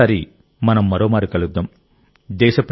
తర్వాతిసారి మనం మరోమారు కలుద్దాం